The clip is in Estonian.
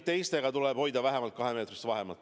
Teistega tuleb hoida vähemalt kahemeetrist vahemaad.